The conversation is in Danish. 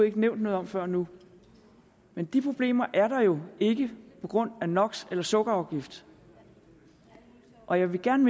ikke nævnt noget om før nu men de problemer er der jo ikke på grund af nox eller sukkerafgift og jeg vil gerne